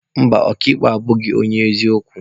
Mba, ọka ikpe a abụghị onye eziokwu.